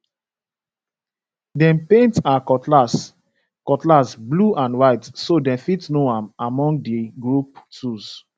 dem paint her cutlass cutlass blue and white so dem fit know am among the group tools